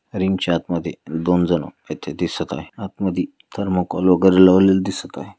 Ring च्या आत मधे दोन जन एथे दिसत आहे. आत मधी थर्मकोल वगैरे लावलेले दिसत आहे.